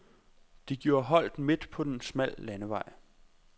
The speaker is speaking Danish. De gjorde holdt midt på en smal landevej.